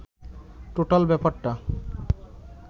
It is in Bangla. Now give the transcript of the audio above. টোটাল ব্যাপারটা